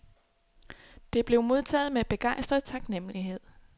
Det blev modtaget med begejstret taknemmelighed.